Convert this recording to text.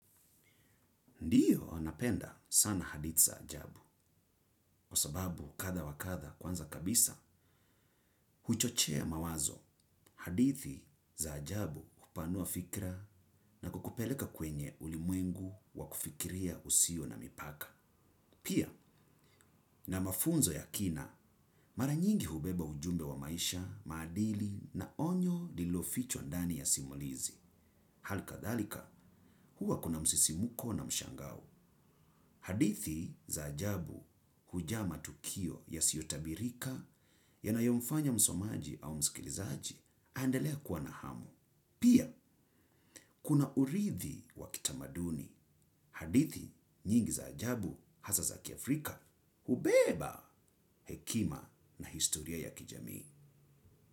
Ndiyo napenda sana hadithi za ajabu, kwa sababu kadhaa wakadhaa kwanza kabisa, huchochea mawazo hadithi za ajabu hupanua fikira na kukupeleka kwenye ulimwengu wa kufikiria usio na mipaka. Pia, na mafunzo ya kina, mara nyingi hubeba ujumbe wa maisha, maadili na onyo lililofichwa ndani ya simulizi. Hali kadhalika, huwa kuna msisimuko na mshangao. Hadithi za ajabu hujaa matukio ya siyotabirika, yanayo mfanya msomaji au mskilizaji, aendele kuwa na hamu. Pia, kuna urithi wa kitamaduni. Hadithi, nyingi za ajabu, hasa za kiafrika, hubeba, hekima na historia ya kijamii.